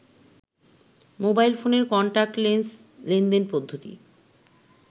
mobile ফোনের contactless লেনদেন পদ্ধতি